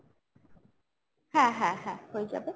হ্যাঁ হ্যাঁ হ্যাঁ হয়ে যাবে।